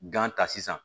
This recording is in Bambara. ta sisan